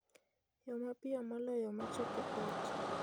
yo mapiyo moloyo ma chopo ot